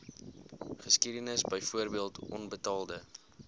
geskiedenis byvoorbeeld onbetaalde